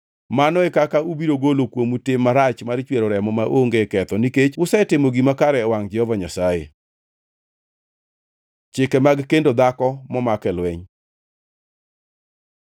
Mano e kaka ubiro golo kuomu tim marach mar chwero remo maonge ketho, nikech usetimo gima kare e wangʼ Jehova Nyasaye. Chike mag kendo dhako momak e lweny